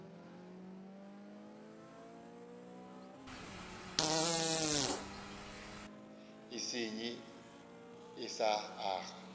e senye e sa aga